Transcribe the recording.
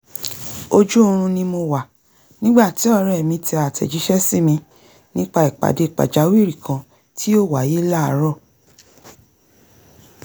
ojú oorun ni mo wà nígbà tí ọ̀rẹ́ mi tẹ àtẹ̀jíṣẹ́ sími nípa ìpàdé pàjáwìrì kan tí yóò wáyé láàárọ̀